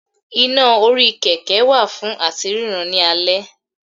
iná orí kẹkẹ wa fun atí rirán ni àlé